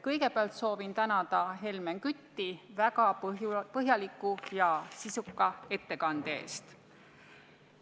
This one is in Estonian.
Kõigepealt soovin tänada Helmen Kütti väga põhjaliku ja sisuka ettekande eest.